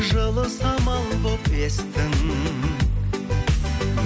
жылы самал болып естің